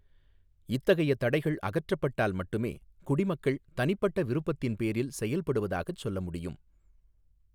இத்தகைய தடைகள் அகற்றப்பட்டால் மட்டுமே, குடிமக்கள் தனிப்பட்ட விருப்பத்தின் பேரில் செயல்படுவதாகச் சொல்ல முடியும்.